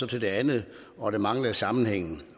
til det andet og der manglede en sammenhæng